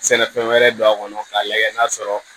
Sɛnɛfɛn wɛrɛ don a kɔnɔ k'a lajɛ n'a sɔrɔ